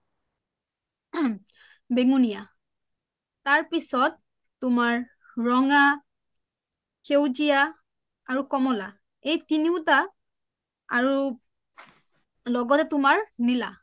বেঙুনীয়া তাৰপিছত তুমাৰ ৰঙা, সেউজীয়া আৰু কমলা এই তিনিওটা আৰু লগতে তোমাৰ নিলা